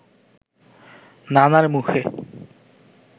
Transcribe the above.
নানার মুখে